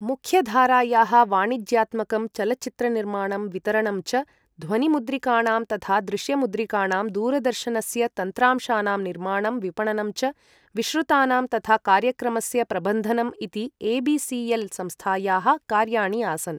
मुख्यधारायाः वाणिज्यात्मकं चलच्चित्रनिर्माणं वितरणं च, ध्वनिमुद्रिकाणां तथा दृश्यमुद्रिकाणां, दूरदर्शनस्य तन्त्रांशानां निर्माणं विपणनं च, विश्रुतानां तथा कार्यक्रमस्य प्रबन्धनम् इति ए.बी.सी.एल्.संस्थायाः कार्याणि आसन्।